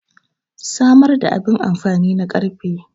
samar da abin amfani na karfe